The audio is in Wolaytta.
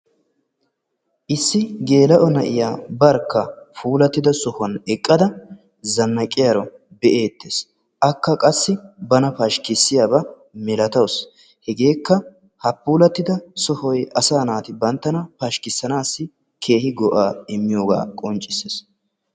issi geela'o na'iyaa barkka puullatidda sohuwaan eeqqada zannaqiyaaro be'ettees. akka qassi bana pashikisiyaaba milatawus. heegekka ha puullatidda sohoy asaa naati banttana pashikisasi keehi go"aa immiyoogaa qonccissees.